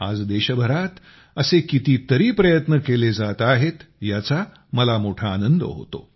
आज देशभरात असे कितीतरी प्रयत्न केले जात आहेत याचा मला मोठा आनंद होतो